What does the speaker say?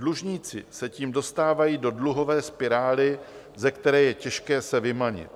Dlužníci se tím dostávají do dluhové spirály, ze které je těžké se vymanit.